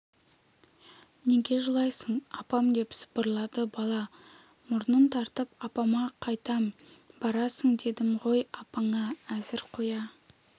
неге жылайсың апам деп сыбырлады бала мұрнын тартып апама қайтам барасың дедім ғой апаңа әзір қоя